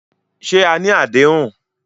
Ṣé à ní adéhùn?